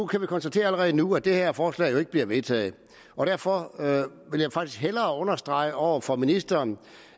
kan konstatere allerede nu at det her forslag jo ikke bliver vedtaget og derfor vil jeg faktisk hellere understrege over for ministeren